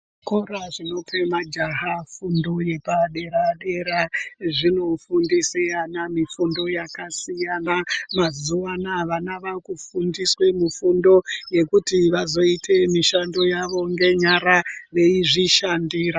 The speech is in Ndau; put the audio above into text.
Zvikora zvinope majaha fundo yepadera dera zvinofundise ana mifundo yaka siyana mazuva anaya vana vakufundiswe mufundo yekuti vazoite mishando yavo ngenyara veizvishandira.